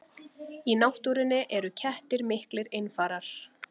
Í náttúrunni eru kettir miklir einfarar.